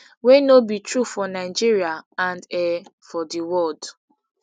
wey no be true for nigeria and um for di world